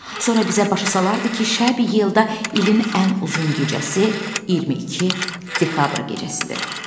Sonra bizə başa salardı ki, şəb yelda ilin ən uzun gecəsi 22 dekabr gecəsidir.